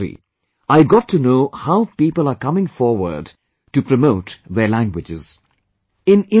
After reading that story, I got to know how people are coming forward to promote their languages